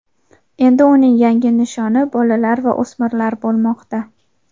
endi uning yangi nishoni bolalar va o‘smirlar bo‘lmoqda.